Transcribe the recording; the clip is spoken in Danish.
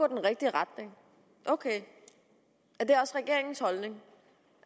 den rigtige retning ok er det også regeringens holdning